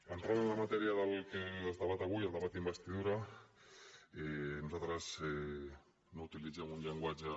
entrant en la matèria del que es debat avui el debat d’investidura nosaltres no utilitzem un llenguatge